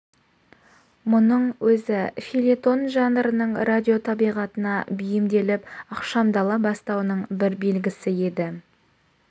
мұның өзі фельетон жанрының радио табиғатына бейімделіп ықшамдала бастауының бір белгісі еді